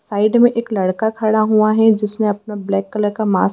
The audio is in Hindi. साइड में एक लड़का खड़ा हुआ हैं जिसने अपना ब्लैक कलर का मास्क --